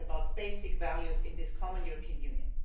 This is about basic values in this common European Union.